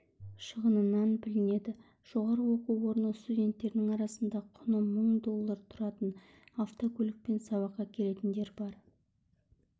шығынынан білінеді жоғары оқу орны студенттерінің арасында құны мың доллары тұратын авкөлікпен сабаққа келетіндер бар